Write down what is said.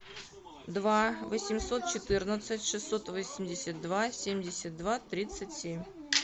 два восемьсот четырнадцать шестьсот восемьдесят два семьдесят два тридцать семь